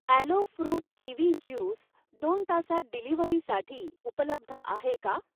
Alloy fruit kiwi juice दोन तासांत डिलिव्हरीसाठी उपलब्ध आहे का?